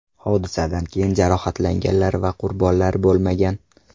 Hodisadan keyin jarohatlanganlar va qurbonlar bo‘lmagan.